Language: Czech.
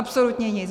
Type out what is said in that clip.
Absolutně nic.